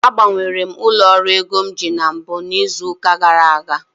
agbanwere m ụlọ ọrụ ego m ji bụ na mbụ n'izu ụka gara aga